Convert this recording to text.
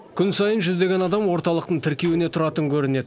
күн сайын жүздеген адам орталықтың тіркеуіне тұратын көрінеді